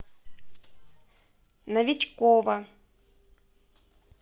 новичкова